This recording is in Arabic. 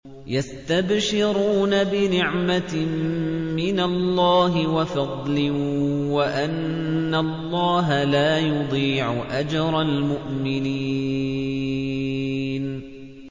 ۞ يَسْتَبْشِرُونَ بِنِعْمَةٍ مِّنَ اللَّهِ وَفَضْلٍ وَأَنَّ اللَّهَ لَا يُضِيعُ أَجْرَ الْمُؤْمِنِينَ